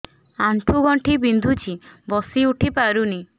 ଆଣ୍ଠୁ ଗଣ୍ଠି ବିନ୍ଧୁଛି ବସିଉଠି ପାରୁନି